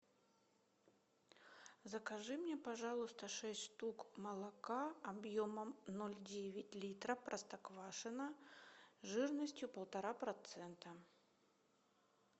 закажи мне пожалуйста шесть штук молока объемом ноль девять литра простоквашино жирностью полтора процента